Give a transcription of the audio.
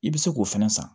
I bɛ se k'o fɛnɛ san